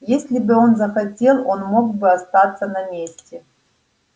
если бы он захотел он мог бы остаться на месте